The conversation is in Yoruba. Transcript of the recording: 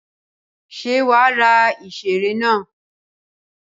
Ṣé wàá ra ìṣeré naa?